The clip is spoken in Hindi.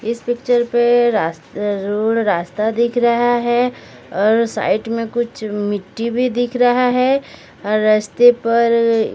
इस पिक्चर पर रास्ते रोड रास्ता दिख रहा है और साइट में कुछ मिट्टी भी दिख रहा है और रस्ते पर--